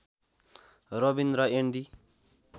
रबिन र एन्डी